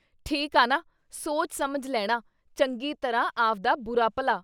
ਠੀਕ ਆ ਨਾ ! ਸੋਚ ਸਮਝ ਲੈਣਾ ਚੰਗੀ ਤਰ੍ਹਾਂ ਆਵਦਾ ਬੁਰਾ ਭਲਾ ।